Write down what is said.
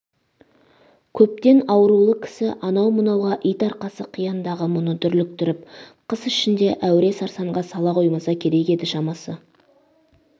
көптен аурулы кісі анау-мынауға ит арқасы қияндағы мұны дүрліктіріп қыс ішінде әуре-сарсанға сала қоймаса керек еді шамасы